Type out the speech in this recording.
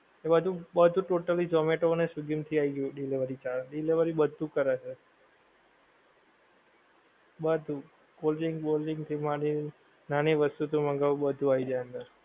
એ બધું બધું totally zomato ને swiggy માં થી આઈ ગયું delivery charge delivery બધું કરે છે, બધું cold drink વૉલ drink થી માંડી નાની વસ્તુ તો મંગાવું બધું આવી જાએ અંદર